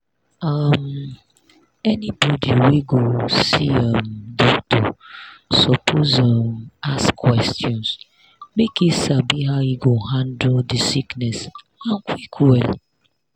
um anybody wey go see um doctor suppose um ask questions make e sabi how e go handle the sickness and quick well